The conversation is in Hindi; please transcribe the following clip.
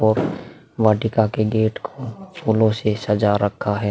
और वाटिका के गेट को फूलो से सजा रखा है।